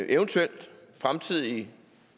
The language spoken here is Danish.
eventuelt fremtidig